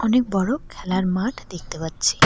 অনেক বড়ো খেলার মাঠ দেখতে পাচ্ছি।